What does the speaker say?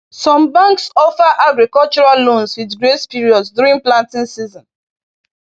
Some banks offer agricultural loans with grace periods during planting season.